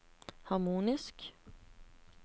harmonisk